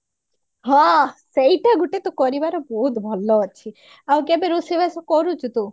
ହଁ ସେଇଟା ଗୋଟେ ତୁ କରିବାର ବହୁତ ଭଲ ଅଛି ଆଉ କେବେ ରୋଷେଇ ବାସ କରୁଛୁ ତୁ